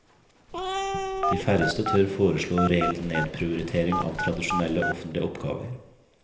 De færreste tør foreslå reell nedprioritering av tradisjonelle offentlige oppgaver.